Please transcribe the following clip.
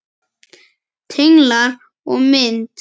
Tenglar og mynd